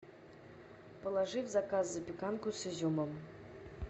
положи в заказ запеканку с изюмом